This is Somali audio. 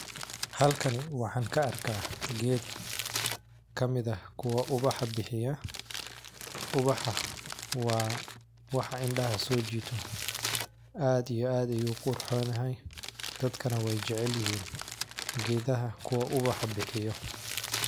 Halkani waxaan ku arkaa geed kamid ah ku uwaxa bixiya ,uwaxa waa wax indhaha soo jiito aad iyo aad ayuu u qurxoon yahay dadkana weey jacel yihiin geedaha kuwa uwaxa bixiyo.